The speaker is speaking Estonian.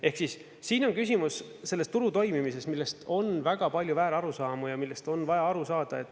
Ehk siis siin on küsimus selles turu toimimises, millest on väga palju väärarusaamu ja millest on vaja aru saada.